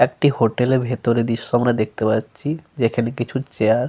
একটি হোটেল -এর ভিতরের দৃশ্য় আমরা দেখতে পাচ্ছি যেখানে কিছু চেয়ার ।